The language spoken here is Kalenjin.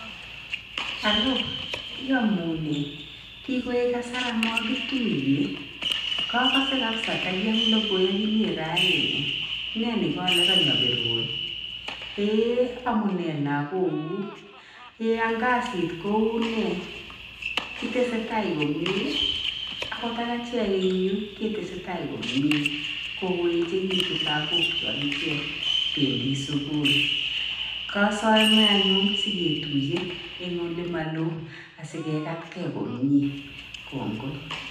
hallo iyamune kioek kasar amakituye kakase kabisa takiam lokoy akinye raini ne nikale kany abirun eeh amunee lakok kuk? eeh ang kasit koune? Itesestai komnye? akot ak achek eng yu ketesetai komnye kokoechekitu lakok chu akichek pendi sukul kasome anyun siketuiye eng ole maloo asikekatkei komnye kongoi.